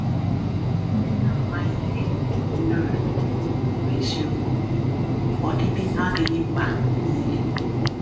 Ndị na-amaghị ihe (nerd) bụ eziokwu, ọdịdị adịghị mkpa niile.